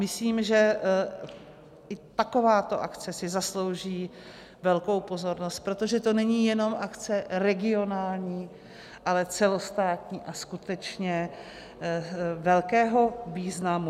Myslím, že i takováto akce si zaslouží velkou pozornost, protože to není jenom akce regionální, ale celostátní a skutečně velkého významu.